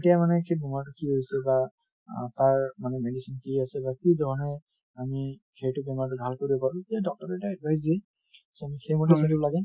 তেতিয়া মানে সেই বেমাৰটো কি হৈছে বা অ তাৰ মানে medicine কি আছে বা কি ধৰণে আমি সেইটো বেমাৰ নাশ কৰিব পাৰো এই doctor এ এটা advice দিয়ে so আমি সেইমতে আমি কৰিব লাগে |